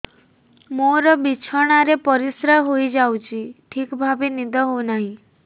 ମୋର ବିଛଣାରେ ପରିସ୍ରା ହେଇଯାଉଛି ଠିକ ଭାବେ ନିଦ ହଉ ନାହିଁ